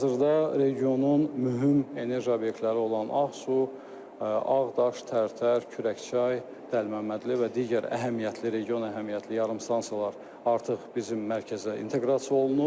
Hazırda regionun mühüm enerji obyektləri olan Ağsu, Ağdaş, Tərtər, Kürəkçay, Dəlməmmədli və digər əhəmiyyətli region əhəmiyyətli yarımstansiyalar artıq bizim mərkəzə inteqrasiya olunub.